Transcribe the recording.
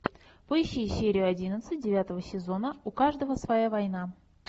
поищи серию одиннадцать девятого сезона у каждого своя война